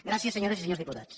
gràcies senyores i senyors diputats